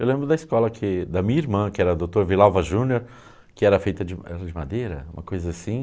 Eu lembro da escola que da minha irmã, que era a doutora Vilalva Júnior, que era feita de era de madeira, uma coisa assim.